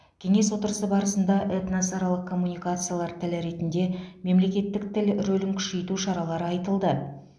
кеңес отырысы барысында этносаралық коммуникациялар тілі ретінде мемлекеттік тіл рөлін күшейту шаралары айтылды